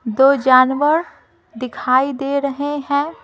दो जानवर दिखाई दे रहे हैं ।